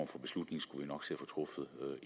for beslutning skulle vi nok kunne se